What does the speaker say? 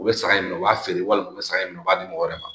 U bɛ saɲɔn in na u b'a feere walima u bɛ sa in nɔ a b'a di mɔgɔ wɛrɛ ma